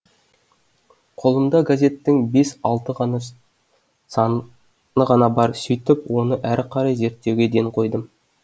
қолымда газеттің бес алты ғана саны ғана бар сөйтіп оны әрі қарай зерттеуге ден қойдым